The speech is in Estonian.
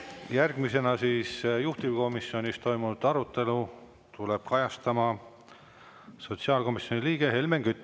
Järgmisena tuleb juhtivkomisjonis toimunud arutelu kajastama sotsiaalkomisjoni liige Helmen Kütt.